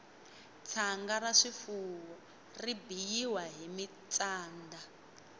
tshanga ra swifuwo ri biyiwa hi mintsanda